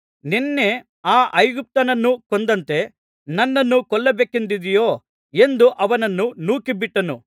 ನಿನ್ನೆ ಆ ಐಗುಪ್ತ್ಯನನ್ನು ಕೊಂದಂತೆ ನನ್ನನ್ನೂ ಕೊಲ್ಲಬೇಕೆಂದಿದ್ದೀಯೋ ಎಂದು ಅವನನ್ನು ನೂಕಿಬಿಟ್ಟನು